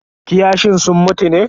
Kiyashin sun mutu ne?